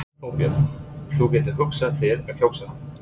Þorbjörn: Þú getur hugsað þér að kjósa hann?